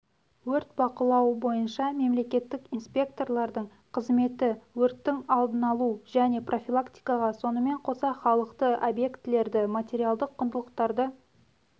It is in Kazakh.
өрт бақылауы бойынша мемлекеттік инспекторлардың қызметі өрттің алдын-алу және профилактикаға сонымен қоса халықты объектілерді материалдық құндылықтарды